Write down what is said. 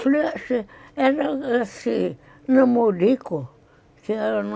Flerte era assim namorico que era no...